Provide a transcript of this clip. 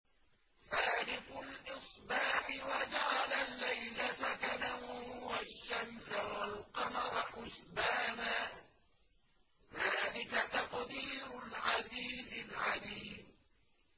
فَالِقُ الْإِصْبَاحِ وَجَعَلَ اللَّيْلَ سَكَنًا وَالشَّمْسَ وَالْقَمَرَ حُسْبَانًا ۚ ذَٰلِكَ تَقْدِيرُ الْعَزِيزِ الْعَلِيمِ